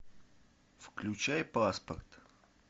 включай паспорт